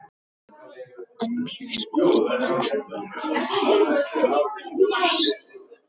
En mig skortir tárakirtlana til þess.